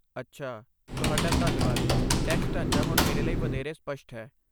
ਅੱਛਾ, ਤੁਹਾਡਾ ਧੰਨਵਾਦ, ਟੈਕਸ ਢਾਂਚਾ ਹੁਣ ਮੇਰੇ ਲਈ ਵਧੇਰੇ ਸਪੱਸ਼ਟ ਹੈ।